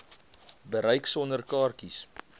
bereik sonder kaartjies